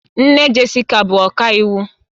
Nne Jessica bụ ọkàiwu